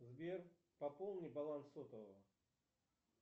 сбер пополни баланс сотового